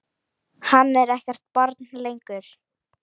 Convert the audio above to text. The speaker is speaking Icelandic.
Hann er ekkert barn lengur.